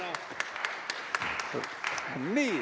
Aitäh, jõuluvana!